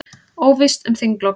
Óvíst um þinglok